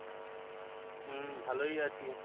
হম ভালোই আছি